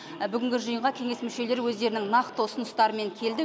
бүгінгі жиынға кеңес мүшелері өздерінің нақты ұсыныстарымен келді